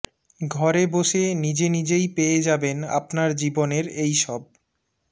ঘরে বসে নিজে নিজেই পেয়ে যাবেন আপনার জীবনের এইসব